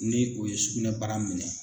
Ni o ye sugunɛbara minɛ